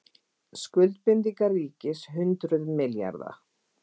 Skuldbindingar ríkis hundruð milljarða